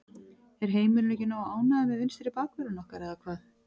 Er heimurinn ekki nógu ánægður með vinstri bakvörðinn okkar eða hvað?